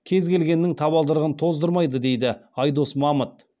кез келгеннің табалдырығын тоздырмайды дейді айдос мамыт